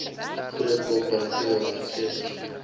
groot korporatiewe werkgewers